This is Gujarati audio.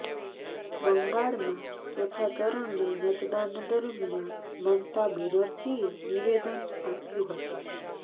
બંગાળમાં ચોથા ચરણના મતદાન દરમિયાન મમતા બેનરજીએ નિવેદન આપ્યું હતુંં